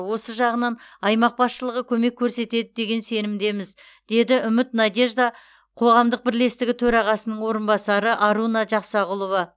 осы жағынан аймақ басшылығы көмек көрсетеді деген сенімдеміз деді үміт надежда қоғамдық бірлестігі төрағасының орынбасары аруна жақсағұлова